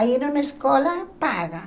Aí era uma escola paga.